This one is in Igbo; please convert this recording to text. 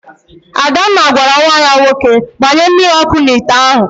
Adanna gwara nwa ya nwoke, gbanye mmiri ọkụ n'ite ahụ!